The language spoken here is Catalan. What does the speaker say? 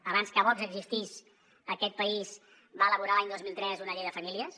abans que vox existís aquest país va elaborar l’any dos mil tres una llei de famílies